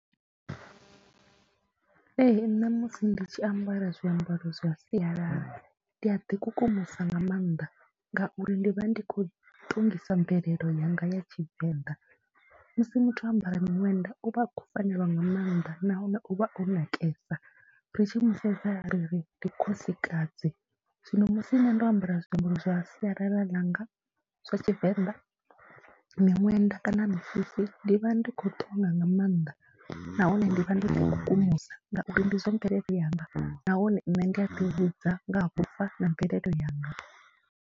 Ee, nṋe musi ndi tshi ambara zwiambaro zwa sialala ndi a ḓikukumusa nga maanḓa ngauri ndi vha ndi khou ṱongisa mvelele yanga ya Tshivenḓa. Musi muthu o ambara miṅwenda u vha a khou fanelwa nga maanḓa nahone u vha o nakesa, ri tshi mu sedza ri ri ndi khosikadzi. Zwino musi nṋe ndo ambara zwiambaro zwa sialala ḽanga zwa Tshivenḓa, miṅwenda kana misisi ndi vha ndi khou ṱonga nga maanḓa nahone ndi vha ndo ḓikukumusa ngauri ndi zwa mvelele yanga nahone nṋe ndi a ḓivhudza nga ha vhufa na mvelele yanga.